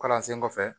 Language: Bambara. Kalansen kɔfɛ